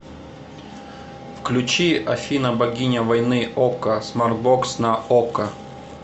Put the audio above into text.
включи афина богиня войны окко смарт бокс на окко